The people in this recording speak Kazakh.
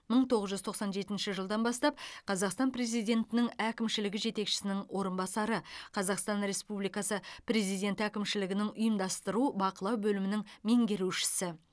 мың тоғыз жүз тоқсан жетінші жылдан бастап қазақстан президентінің әкімшілігі жетекшісінің орынбасары қазақстан республикасы президенті әкімшілігінің ұйымдастыру бақылау бөлімінің меңгерушісі